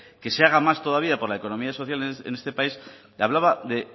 que se haga más todavía por la economía social en este país hablaba de